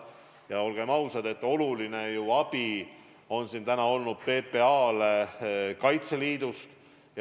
Ja olgem ausad, suur abi on PPA-le olnud Kaitseliidust.